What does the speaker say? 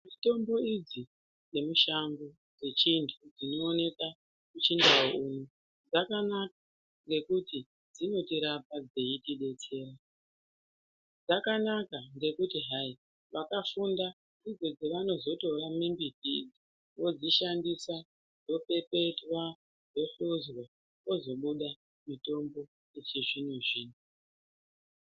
Mitombo idzi dzemushango dzechiantu dzinooneka muchindau dzakanaka ngekuti dzinotirapa dzeitidetsera. Dzakanaka ngekuti hai vakafunda ndidzo dzavanozotora mimbiti idzi vodzishandisa dzopepetwa, dzohizwa kwozobuda mitombo yechizvino-zvino.